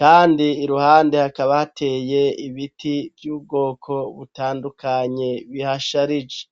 kandi iruhande hakaba hateye ibiti vy'ubwoko butandukanye bihasharije.